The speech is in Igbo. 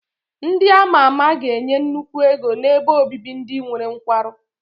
Ndị a ma ama ga-enye nnukwu ego n'ebe obibi ndị nwere nkwarụ.